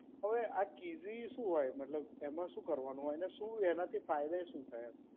હવે આ કીઝી શું હોય? મતલબ એમાં શું કરવાનું હોય અને શું એનાંથી ફાયદો શું થાય એમ?